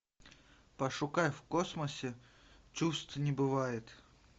пошукай в космосе чувств не бывает